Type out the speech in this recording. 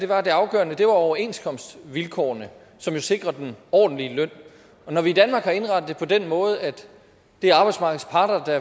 var at det afgørende var overenskomstvilkårene som jo sikrer en ordentlig løn og når vi i danmark har indrettet det på den måde at det er arbejdsmarkedets parter der